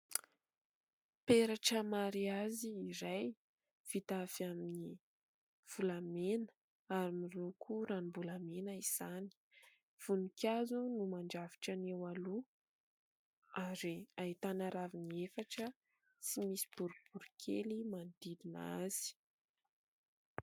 Peratra mariazy iray, vita avy amin'ny volamena ary miloko ranom-bolamena izany. Voninkazo no mandrafitra ny eo aloha ary ahitana raviny efatra sy misy boriborikely manodidina azy.